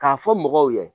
K'a fɔ mɔgɔw ye